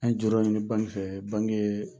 An ye jɔyɔrɔ mi ɲini banki fɛ banki yeee